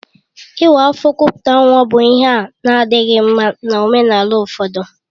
Ịwa afọ kupute nwa bụ ihe a na-adịghị mma na omenala ụfọdụ